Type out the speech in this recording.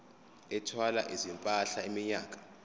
ethwala izimpahla iminyaka